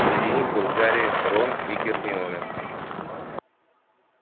среди них был гарри рон и гермиона